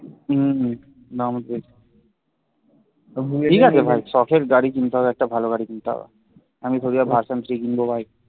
হম হম দাম বেশি ঠিক আছে ভাই সখের গাড়ি কিনতে হবে একটা ভালো গাড়ি কিনতে হবে আমি থোরেই আর version three কিনব ভাই